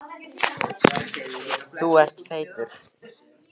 Jón biskup horfði á eftir syni sínum og kvað vísu: